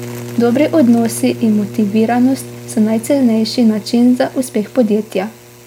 Dobri odnosi in motiviranost so najcenejši način za uspeh podjetja.